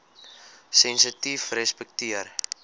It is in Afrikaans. sensitiefrespekteer